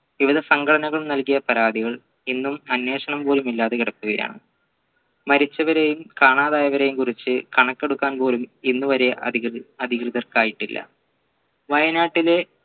വിവിധ സംഘടനകൾ നൽകിയ പരാതികൾ ഇന്നും അന്വേഷണം പോലും ഇല്ലാതെ കിടക്കുകയാണ് മരിച്ചവരെയും കാണാതായവരെയും കുറിച്ച് കണക്കെടുക്കാൻ പോലും ഇന്നുവരെ അധികൃതർക്കായിട്ടില്ല വയനാട്ടിലെ